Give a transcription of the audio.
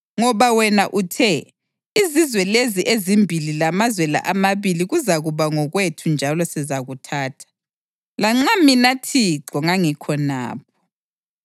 Ngoba wena uthe, “Izizwe lezi ezimbili lamazwe la amabili kuzakuba ngokwethu njalo sizakuthatha,” lanxa mina Thixo ngangikhonapho.